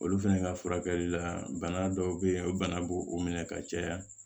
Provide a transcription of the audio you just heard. Olu fɛnɛ ka furakɛli la bana dɔw be yen o bana b'o o minɛ ka caya